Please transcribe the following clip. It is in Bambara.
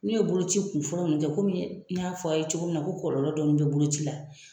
N'u ye boloci kun fɔlɔ nun kɛ kɔmi n y'a fɔ aw ye cogo min na ko kɔlɔlɔ dɔɔni bɛ boloci la.